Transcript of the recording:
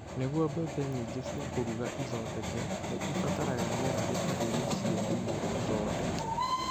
Nĩguo mbembe nyingĩ cia kũruga ithondeke, nĩ ibataraga rĩera rĩtarĩ rĩhiũ nĩguo ithondeke.